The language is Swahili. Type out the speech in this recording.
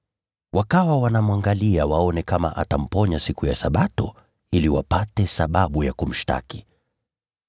Wakawa wanamwangalia waone kama atamponya siku ya Sabato, ili wapate sababu ya kumshtaki.